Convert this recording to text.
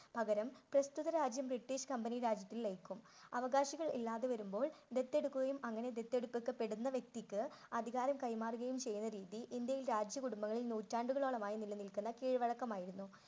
പകരം പ്രസ്തുത രാജ്യം ബ്രിട്ടീഷ് കമ്പനി രാജ്യത്ത് ലയിക്കും. അവകാശികൾ ഇല്ലാതെ വരുമ്പോൾ ദത്തെടുക്കുകയും അങ്ങനെ ദത്തെടുക്കപ്പെടുന്ന വ്യക്തിക്ക് അധികാരം കൈമാറുകയും ചെയ്യുന്ന രീതി ഇന്ത്യയിൽ രാജ്യകുടുംബങ്ങളിൽ നൂറ്റാണ്ടുകളോളമായി നിലനിൽക്കുന്ന കീഴ്വഴക്കമായിരുന്നു.